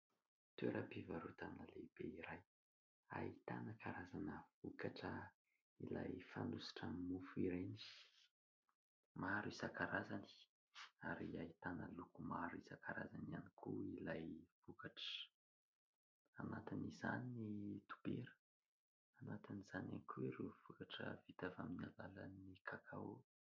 Toeram-pivarotana lehibe iray ahitana karazana vokatra ilay fanosotra amin'ny mofo ireny. Maro isan-karazany ary ahitana loko maro isan-karazany ihany koa ilay vokatra. Anatin' izany ny dobera ; anatin'izany ihany koa ireo vokatra vita avy amin'ny alalan'ny kakao.